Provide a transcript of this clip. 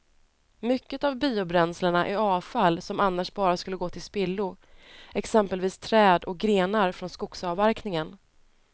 Mycket av biobränslena är avfall som annars bara skulle gå till spillo, exempelvis träd och grenar från skogsavverkningen.